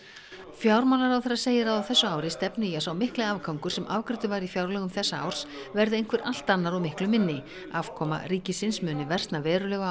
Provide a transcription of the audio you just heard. fjármálaráðherra segir að á þessu ári stefni í að sá mikli afgangur sem afgreiddur var í fjárlögum þessa árs verði einhver allt annar og miklu minni afkoma ríkisins muni versna verulega